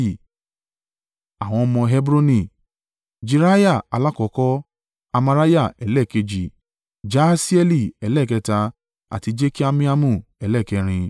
Àwọn ọmọ Hebroni: Jeriah alákọ́kọ́, Amariah ẹlẹ́ẹ̀kejì, Jahasieli ẹlẹ́ẹ̀kẹta àti Jekameamu ẹlẹ́ẹ̀kẹrin.